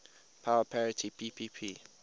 power parity ppp